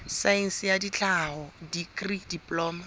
saense ya tlhaho dikri diploma